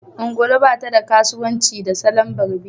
ungulu ba ta da kasuwanci da salon barbi